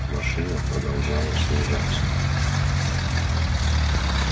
машина продолжала снижаться